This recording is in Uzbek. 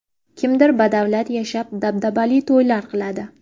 Kimdir badavlat yashab, dabdabali to‘ylar qiladi.